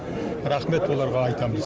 рахмет оларға айтамыз